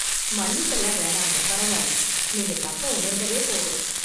மன்னிப்பு எல்லாம் வேணாங்க பரவாயில்லை. நீங்க தப்ப உணர்ந்ததே போதும்